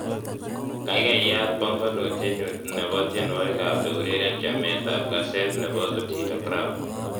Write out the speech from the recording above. kaigai yaat bongonutinyun nebo tienwogikak eureren chamet ab kaset nebo otile brown